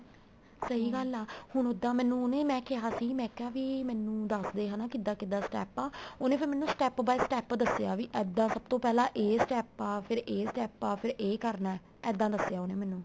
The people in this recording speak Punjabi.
ਸਹੀਂ ਗੱਲ ਆ ਹੁਣ ਉੱਦਾ ਮੈਨੂੰ ਉਹਨੇ ਮੈਂ ਕਿਹਾ ਸੀ ਮੈਂ ਕਿਹਾ ਵੀ ਮੈਨੂੰ ਦੱਸ ਦੇ ਕਿੱਦਾਂ ਕਿੱਦਾਂ step ਆ ਉਹਨੇ ਫ਼ੇਰ ਮੈਨੂੰ step by step ਦੱਸਿਆ ਵੀ ਇੱਦਾ ਵੀ ਸਭ ਤੋਂ ਪਹਿਲਾਂ ਏ step ਫ਼ੇਰ ਇਹ step ਆ ਫ਼ਿਰ ਇਹ ਕਰਨਾ ਇੱਦਾਂ ਦੱਸਿਆ ਉਹਨੇ ਮੈਨੂੰ